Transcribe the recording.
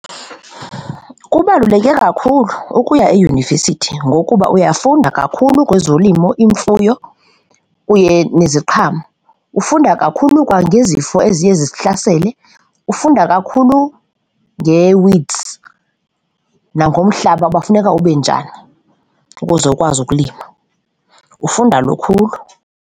Kubaluleke kakhulu ukuya eyunivesithi ngokuba uyafunda kakhulu kwezolimo, imfuyo kunye neziqhamo, ufunda kakhulu kwangezifo eziye zihlasele. Ufunda kakhulu nge-weeds nangomhlaba uba funeka ube njani ukuze ukwazi ukulima, ufunda lukhulu.